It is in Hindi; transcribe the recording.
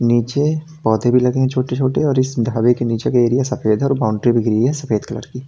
नीचे पौधे भी लगे छोटे छोटे और इस ढाबे के नीचे के एरिया सफेद है और बाउंड्री भी घिरी है सफेद कलर की।